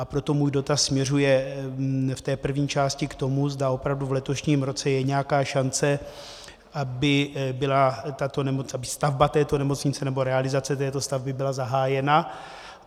A proto můj dotaz směřuje v té první části k tomu, zda opravdu v letošním roce je nějaká šance, aby stavba této nemocnice nebo realizace této stavby byla zahájena.